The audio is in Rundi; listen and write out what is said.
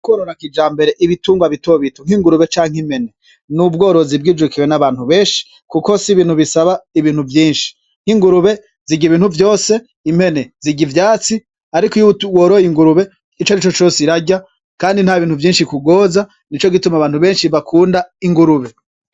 Ororakija mbere ibitungwa bitobitu nk'ingurube canke impene n'ubworozi bw'ijukiwe n'abantu benshi, kuko si ibintu bisaba ibintu vyinshi nk'ingurube zigya ibintu vyose impene zigya ivyatsi, ariko iyouworoye ingurube ico ni co cose irarya, kandi nta bintu vyinshi kugoza ni co gituma abantu benshi bakunda ingurube.